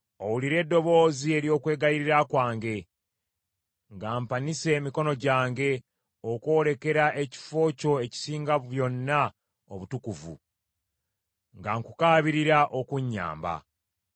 Owulire eddoboozi ery’okwegayirira kwange, nga mpanise emikono gyange okwolekera ekifo kyo ekisinga byonna obutukuvu, nga nkukaabirira okunnyamba.